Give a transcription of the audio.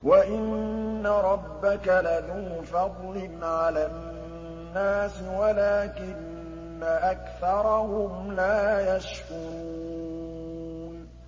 وَإِنَّ رَبَّكَ لَذُو فَضْلٍ عَلَى النَّاسِ وَلَٰكِنَّ أَكْثَرَهُمْ لَا يَشْكُرُونَ